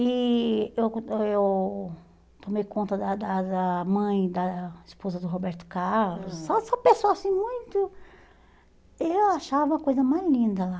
E eu eu tomei conta da da da mãe, da esposa do Roberto Carlos, só só pessoas assim muito... Eu achava a coisa mais linda lá.